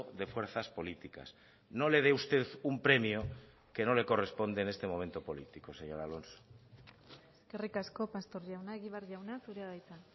de fuerzas políticas no le dé usted un premio que no le corresponde en este momento político señor alonso eskerrik asko pastor jauna egibar jauna zurea da hitza